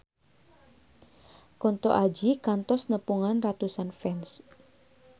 Kunto Aji kantos nepungan ratusan fans